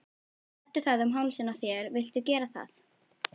Settu það um hálsinn á þér viltu gera það?